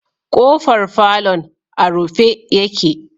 K'ofar falon a rufe yake.